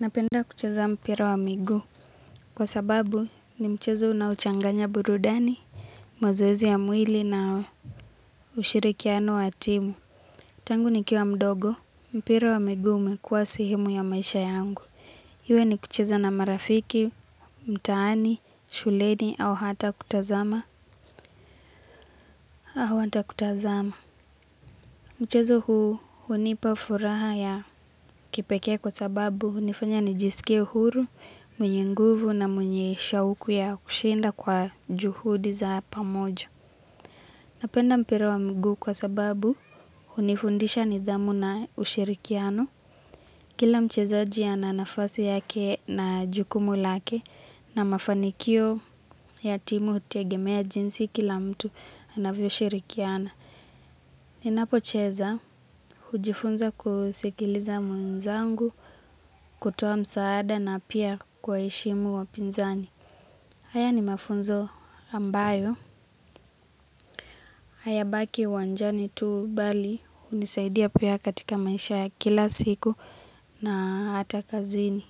Napenda kucheza mpira wa miguu. Kwa sababu ni mchezo unaochanganya burudani, mazoezi ya mwili na ushirikiano wa timu. Tangu nikiwa mdogo. Mpira wa miguu umekuwa sehemu ya maisha yangu. Iwe ni kucheza na marafiki, mtaani, shuleni au hata kutazama. Au hata kutazama. Mchezo huu hunipa furaha ya kipekee kwa sababu hunifanya nijisikie huru, mwenye nguvu na mwenye shauku ya kushinda kwa juhudi za pamoja. Napenda mpira wa miguu kwa sababu hunifundisha nidhamu na ushirikiano. Kila mchezaji ana nafasi yake na jukumu lake na mafanikio ya timu hutegemea jinsi kila mtu anavyoshirikiana. Ninapocheza, hujifunza kusikiliza mwenzangu. Kutoa msaada na pia kuwaheshimu wapinzani. Haya ni mafunzo ambayo hayabaki uwanjani tu bali hunisaidia pia katika maisha ya kila siku na hata kazini.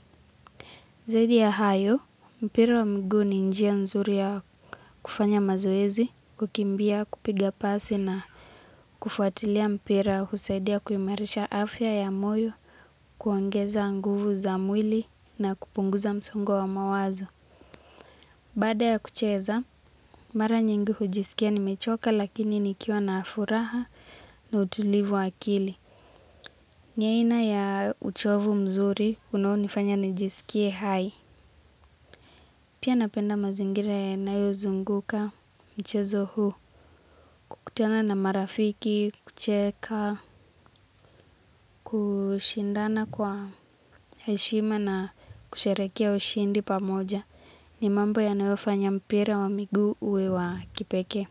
Zaidi ya hayo, mpira wa miguu ni njia nzuri ya kufanya mazoezi, kukimbia, kupiga pasi na kufuatilia mpira husaidia kuimarisha afya ya moyo kuongeza nguvu za mwili na kupunguza msongo wa mawazo. Baada ya kucheza, mara nyingi hujisikia nimechoka lakini nikiwa na furaha na utulivu wa akili. Ni aina ya uchovu mzuri unaonifanya nijisikie hai. Pia napenda mazingira yanayozunguka mchezo huu. Kukutana na marafiki, kucheka kushindana kwa heshima na kusherehekea ushindi pamoja. Ni mambo yanayofanya mpira wa miguu uwe wa kipekee.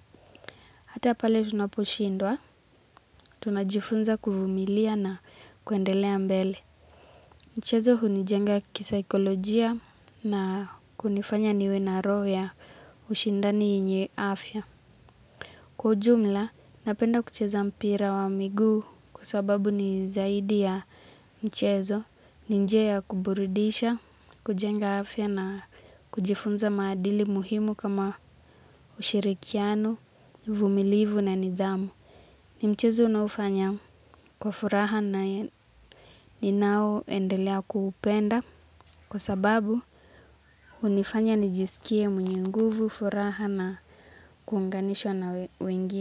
Hata pale tunaposhindwa, tunajifunza kuvumilia na kuendelea mbele. Mchezo hunijenga kisaikolojia na kunifanya niwe na roho ya ushindani yenye afya. Kwa ujumla, napenda kucheza mpira wa miguu kwa sababu ni zaidi ya mchezo ni njia ya kuburudisha, kujenga afya na kujifunza maadili muhimu kama ushirikiano, uvumilivu na nidhamu. Ni mchezo ninaoufanya kwa furaha na ninaoendelea kuupenda. Kwa sababu hunifanya nijiskie mwenye nguvu furaha na kuunganishwa na wengine.